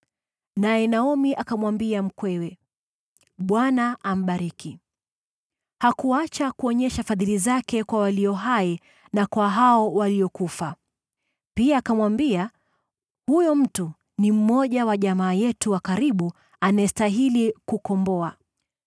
Naye Naomi akamwambia mkwewe, “ Bwana ambariki! Hakuacha kuonyesha fadhili zake kwa walio hai na kwa waliokufa.” Pia akamwambia, “Huyo mtu ni mmoja wa jamaa yetu wa karibu anayestahili kutukomboa.”